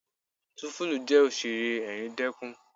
Túńfúlù jẹ́ Òṣẹ̀ré ẹ̀ríndẹkún.